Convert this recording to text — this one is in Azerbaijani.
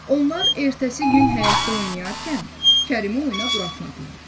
Onlar ertəsi gün həyətdə oynayarkən Kərimi oyuna buraxmadılar.